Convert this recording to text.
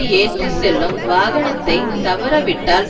ஏற்றி செல்லும் வாகனத்தை தவறவிட்டால்